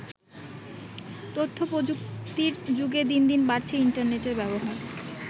তথ্য প্রযুক্তির যুগে দিনদিন বাড়ছে ইন্টারনেটের ব্যবহার।